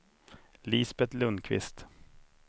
Lisbet Lundqvist